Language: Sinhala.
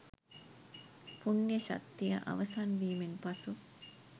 පුණ්‍ය ශක්තිය අවසන් වීමෙන් පසු